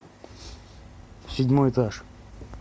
седьмой этаж